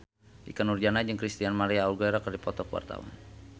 Ikke Nurjanah jeung Christina María Aguilera keur dipoto ku wartawan